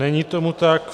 Není tomu tak.